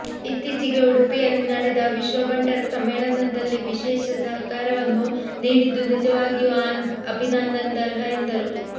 ಇತ್ತೀಚೆಗೆ ಉಡುಪಿಯಲ್ಲಿ ನಡೆದ ವಿಶ್ವ ಬಂಟರ ಸಮ್ಮೇಳನದಲ್ಲಿ ವಿಶೇಷ ಸಹಕಾರವನ್ನು ನೀಡಿದ್ದು ನಿಜವಾಗಿಯೂ ಅಭಿನಂದನಾರ್ಹರು ಎಂದರು